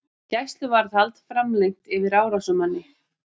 Gæsluvarðhald framlengt yfir árásarmanni